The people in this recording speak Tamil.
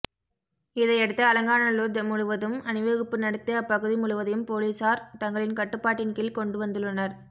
இதையடுத்து அலங்காநல்லூர் முழுவதும் அணிவகுப்பு நடத்தி அப்பகுதி முழுவதையும் போலீசார் தங்களின் கட்டுப்பாட்டின் கீழ் கொண்டுவந்துள்ளனர்